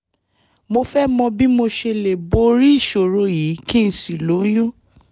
mo fẹ́ mọ bí mo ṣe lè borí ìṣòro yìí kí n sì lóyún